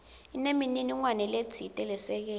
inemininingwane letsite lesekela